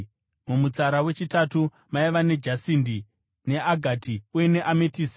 mumutsara wechitatu maiva nejasindi, neagati uye neametisiti;